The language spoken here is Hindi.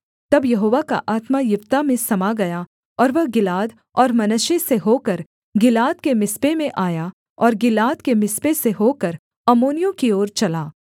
तब यहोवा का आत्मा यिप्तह में समा गया और वह गिलाद और मनश्शे से होकर गिलाद के मिस्पे में आया और गिलाद के मिस्पे से होकर अम्मोनियों की ओर चला